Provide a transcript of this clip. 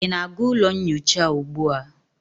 ị na-aga ụlọ nyocha ugbu a?